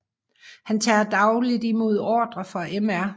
Han tager dagligt imod ordre fra Mr